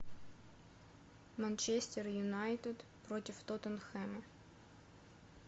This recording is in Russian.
манчестер юнайтед против тоттенхэма